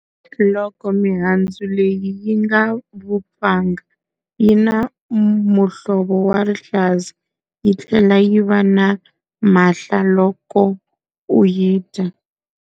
Loko mihandzu leyi yi nga vupfanga, yi na muhlovo wa rihlaza, yi tlhela yi va na mahla loko u yi dya.